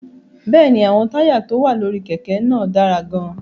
Bẹ́ẹ̀ ni, àwọn táyà tó wà lórí kẹ̀kẹ́ náà dára gan-an.